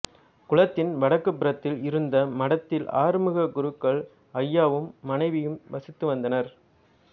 குளத்தின் வடக்கு புறத்தில் இருந்த மடத்தில் ஆறுமுகக்குருக்கள் ஐயாவும் மனைவியும் வசித்து வந்தனர்